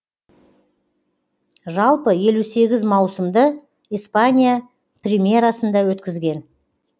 жалпы елу сегіз маусымды испания примерасында өткізген